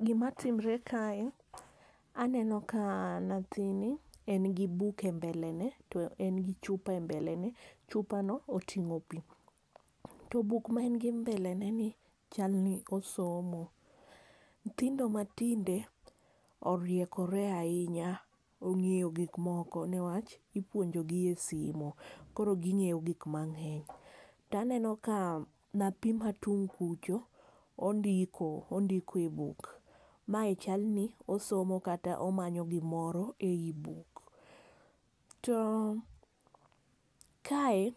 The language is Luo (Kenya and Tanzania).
Gima timore kae, aneno ka nyathini en gi buk e mbele ne to en gi chupa e mbele. Chupano oting'o pi. To buk ma en go mbele ne ni, chal ni osomo. Nyithindo ma tinde, oriekore ahinya. Ong'eyo gik moko, newach, ipuonjo gi e simu, koro giny'eyo gik mang'eny. To aneno ka nyathi ma tung' kucho, ondiko, ondiko e buk. Mae chal ni osomo kata omanyo gimoro ei buk. To kae